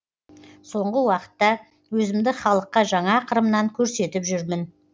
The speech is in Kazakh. соңғы уақытта өзімді халыққа жаңа қырымнан көрсетіп жүрмін